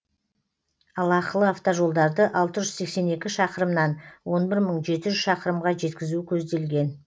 ал ақылы автожолдарды алты жүз сексен екі шақырымнан он бір мың шақырымға жеткізу көзделген